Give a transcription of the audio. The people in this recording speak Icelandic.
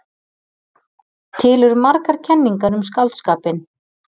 Til eru margar kenningar um skáldskapinn.